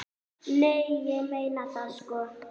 Nei, ég meina það sko.